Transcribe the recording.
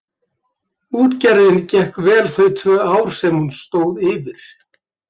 Útgerðin gekk vel þau tvö ár sem hún stóð yfir.